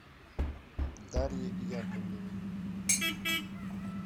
дарье яковлевой